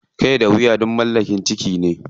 Kai da wuya duk mallakar jiki ne.